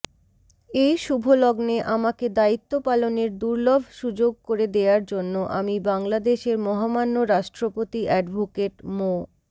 এই শুভলগ্নে আমাকে দায়িত্বপালনের দুর্লভ সুযোগ করে দেয়ার জন্যে আমি বাংলাদেশের মহামান্য রাষ্ট্রপতি এডভোকেট মো